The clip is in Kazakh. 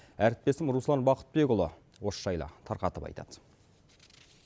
әріптесім руслан бақытбекұлы осы жайлы тарқатып айтады